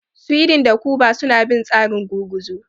Sweden da Kuba suna bin tsarin gurguzu.